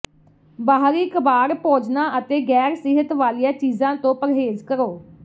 ਬਾਹਰੀ ਕਬਾੜ ਭੋਜਨਾਂ ਅਤੇ ਗੈਰ ਸਿਹਤ ਵਾਲੀਆਂ ਚੀਜ਼ਾਂ ਤੋਂ ਪਰਹੇਜ਼ ਕਰੋ